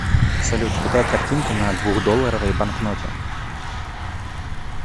салют какая картинка на двухдолларовой банкноте